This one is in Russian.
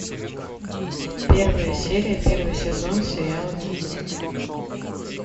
первая серия первый сезон сериала ганнибал